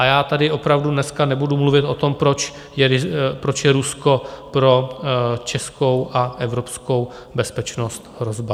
A já tady opravdu dneska nebudu mluvit o tom, proč je Rusko pro českou a evropskou bezpečnost hrozba.